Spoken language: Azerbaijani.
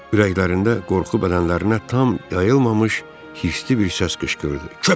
Ürəklərində qorxu bədənlərinə tam yayılmamış hircli bir səs qışqırdı.